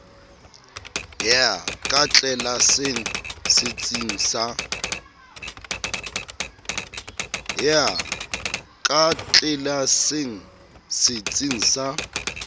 ya ka tlelaseng setsing sa